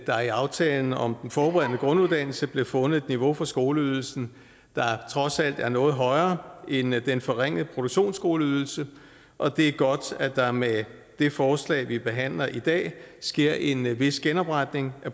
der i aftalen om den forberedende grunduddannelse blev fundet et niveau for skoleydelsen der trods alt er noget højere end den forringede produktionsskoleydelse og det er godt at der med det forslag vi behandler i dag sker en vis genopretning